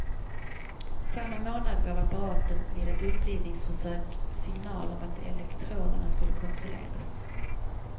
Samma månad gav apparaten vid ett upplivningsförsök signal om att elektroderna skulle kontrolleras.